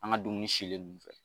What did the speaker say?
An ka dumuni silen ninnu fɛ